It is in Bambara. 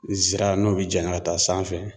Zira n'o bi janya ka taa sanfɛ